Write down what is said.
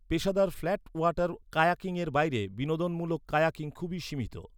পেশাদার flat water কায়াকিংয়ের বাইরে বিনোদনমূলক কায়াকিং খুবই সীমিত।